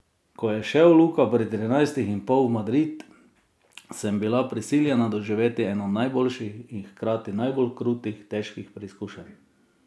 Ko je šel Luka pri trinajstih in pol v Madrid, sem bila prisiljena doživeti eno najboljših in hkrati najbolj krutih, težkih preizkušenj.